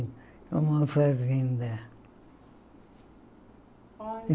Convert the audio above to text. É uma fazenda.